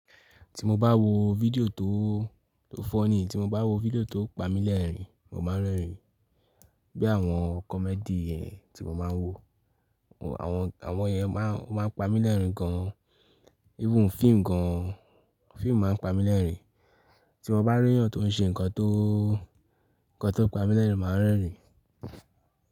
Ti mo bá wo fídíò tó, tó funny, tí mo bá wo fídíò tó pa mí lẹ́rìn-ín, mo máa ń rẹ́rìn-ín. Bí i àwọn comedy tí mo máa ń wo, àwọn, àwọn yẹn máa ń, máa ń pa mí lẹ́rìn-ín gan-an. Even fíìmù gan-an, fíìmù máa ń pa mí lẹ́rìn-ín. Tí mo bá rí eyan tó ń ṣe nǹkan tó, nǹkan tó pa mí lẹ́rìn, màá rẹ́rìn.